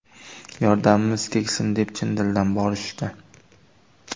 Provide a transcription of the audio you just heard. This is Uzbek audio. Yordamimiz tegsin deb chin dildan borishdi.